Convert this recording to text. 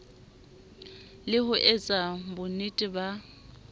le ho etsa bonnete ba